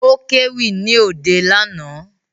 Ó kéwì ní òde lánàá